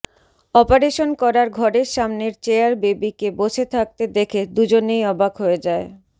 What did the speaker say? operation করার ঘরের সামনের চেয়ার বেবী কে বসে থাকতে দেখে দুজনেই অবাক হয়ে যায়